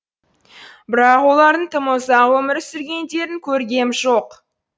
бірақ олардың тым ұзақ өмір сүргендерін көргем жоқ